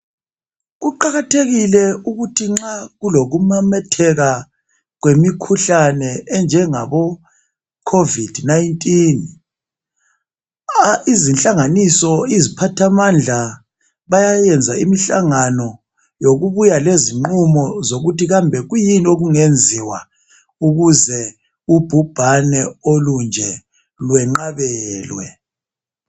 Kuqakathekile ukuthi nxa kulokumemetheka kwemikhuhlane enjengaboCovid 19 izinhlanganiso iziphathamandla bayayenza imihlangano yokubuya lezinqumo zokuthi kambe kuyini okungenziwa ukuze ubhubhane olunje lwenqabelwe.